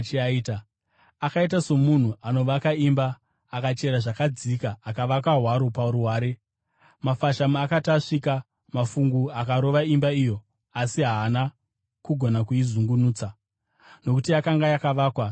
Akaita somunhu anovaka imba, akachera zvakadzika akavaka hwaro paruware. Mafashamu akati asvika, mafungu akarova imba iyo asi haana kugona kuizungunutsa, nokuti yakanga yakavakwa zvakanaka.